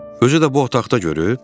Özü də bu otaqda görüb?